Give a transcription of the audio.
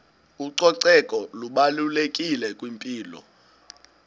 ucoceko lubalulekile kwimpilo